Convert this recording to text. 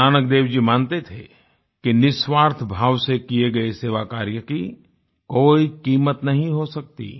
गुरुनानकदेव जी मानते थे कि निस्वार्थ भाव से किए गए सेवा कार्य की कोई क़ीमत नहीं हो सकती